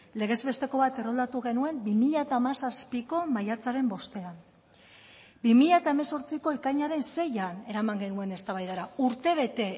legez besteko bat erroldatu genuen bi mila hamazazpiko maiatzaren bostean bi mila hemezortziko ekainaren seian eraman genuen eztabaidara urtebete